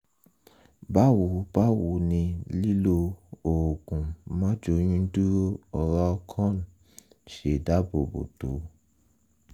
báwo báwo ni lílo oògùn máàjóyúndúró oralcon ṣe dáàbò bò tó?